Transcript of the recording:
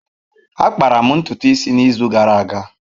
Akpara m ntutu isi n’izu gara aga.